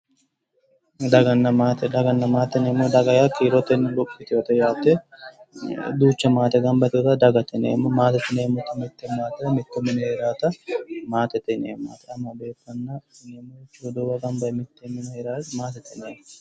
Daganna maate, daganna maate yineemmo, daga yaa kiirote luphi yitewoote yaate. duucha maate gamba yitewoota dagate yineemmo. maatete yineemmoti mitte maate mitto mine heeraata maatete yineemmo. roduuwu gamba yee mitteenni heeraata maatete yineemmo.